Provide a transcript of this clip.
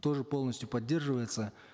тоже полностью поддерживается